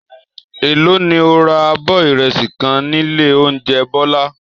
Èló ni o ra abọ́ ìrẹsì kan nílé oúnjẹ Bọ́lá?